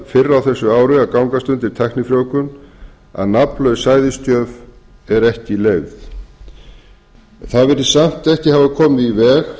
á þessu ári að gangast undir tæknifrjóvgun að nafnlaus sæðisgjöf er ekki leyfð það virðist samt ekki hafa komið í veg